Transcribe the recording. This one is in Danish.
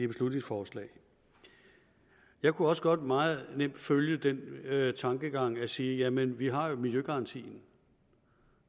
beslutningsforslag jeg kunne også godt meget nemt følge den tankegang at sige jamen vi har jo miljøgarantien